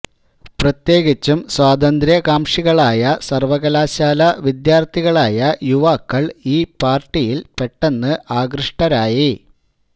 പ്രത്യേകിച്ചും സ്വാതന്ത്ര്യ കാംഷികളായ സർവ്വകലാശാലാ വിദ്യാർത്ഥികളായ യുവാക്കൾ ഈ പർട്ടിയിൽ പെട്ടെന്ന് അകൃഷ്ടരായി